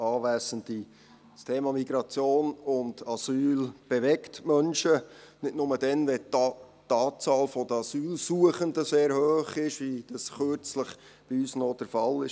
Das Thema Migration und Asyl bewegt die Menschen – nicht nur dann, wenn die Anzahl der Asylsuchenden sehr hoch ist, wie das kürzlich bei uns noch der Fall war.